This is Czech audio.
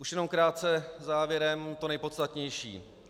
Už jenom krátce závěrem to nejpodstatnější.